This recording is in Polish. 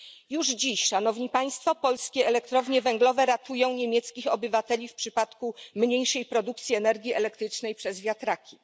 Już dziś polskie elektrownie węglowe ratują niemieckich obywateli w przypadku mniejszej produkcji energii elektrycznej przez wiatraki.